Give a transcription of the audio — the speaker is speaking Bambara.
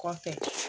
Kɔfɛ